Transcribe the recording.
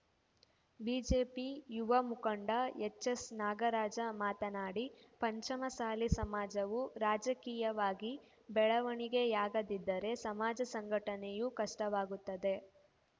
BJP ಯುವ ಮುಖಂಡ ಎಚ್‌ಎಸ್‌ನಾಗರಾಜ ಮಾತನಾಡಿ ಪಂಚಮಸಾಲಿ ಸಮಾಜವು ರಾಜಕೀಯವಾಗಿ ಬೆಳವಣಿಗೆಯಾಗದಿದ್ದರೆ ಸಮಾಜ ಸಂಘಟನೆಯೂ ಕಷ್ಟವಾಗುತ್ತದೆ